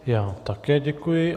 Já také děkuji.